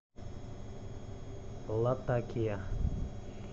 латакия